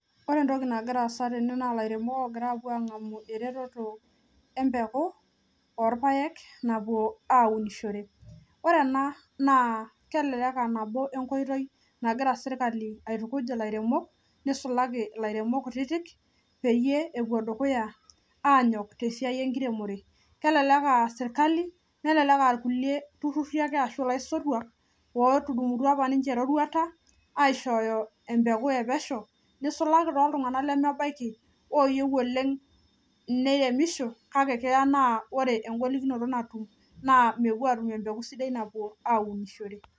Ore entoki nagiraasa tene naa lairemok ogira apuo ang'amu eretoto empeku orpaek napuo aunishore. Ore ena naa kelelek [aa] nabo enkoitoi nagira sirkali aitukuj ilairemok neisulaki ilairemok kutitik peyie epuo dukuya anyok tesiai enkiremore. Kelelek [aa] sirkali nelelek [aa] lkulie turruri ashu ilaisotuak ootudumutua apa ninche eroruata aishooyo empeku e pesho neisulaki toltung'anak lemebaiki ooyiou oleng' neiremisho kake kea naa ore engolikinoto natum naa mepuo atum empeku sidai napuo aunishore.